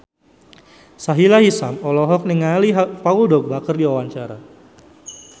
Sahila Hisyam olohok ningali Paul Dogba keur diwawancara